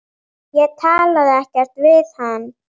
Ég talaði ekkert við hann.